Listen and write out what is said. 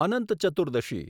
Anant Chaturdashi